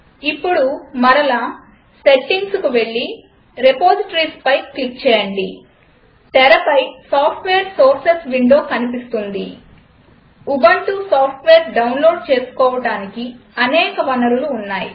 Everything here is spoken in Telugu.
ఇప్పుడు మరలా Settingకు వెళ్లి రిపాజిటరీస్ పై క్లిక్ చేయండి తెరపై సాఫ్ట్వేర్ సోర్సెస్ విండో కనిపిస్తుంది ఉబంటు సాఫ్ట్వేర్ డౌన్లోడ్ చేసుకోవడానికి అనేక వనరులు ఉన్నాయి